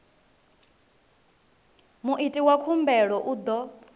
muiti wa khumbelo u ḓo